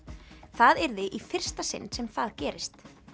það yrði í fyrsta sinn sem það gerist